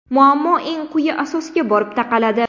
Muammo eng quyi asosga borib taqaladi.